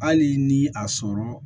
Hali ni a sɔrɔ